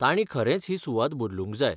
तांणी खरेंच ही सुवात बदलूंक जाय.